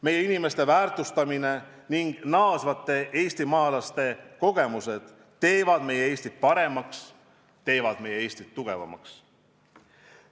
Meie inimeste väärtustamine ning naasvate eestimaalaste kogemused teevad meie Eestit paremaks, teevad meie Eestit tugevamaks.